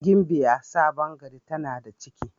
Gimbiya Sabon gari tana da ciki.